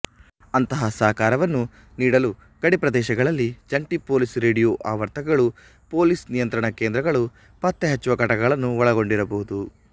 ಅಂತಹ ಸಹಕಾರವನ್ನು ನೀಡಲು ಗಡಿಪ್ರದೇಶಗಳಲ್ಲಿ ಜಂಟಿ ಪೋಲಿಸ್ ರೇಡಿಯೋ ಆವರ್ತನಗಳು ಪೋಲಿಸ್ ನಿಯಂತ್ರಣ ಕೇಂದ್ರಗಳು ಪತ್ತೆಹಚ್ಚುವ ಘಟಕಗಳನ್ನು ಒಳಗೊಂಡಿರಬಹುದು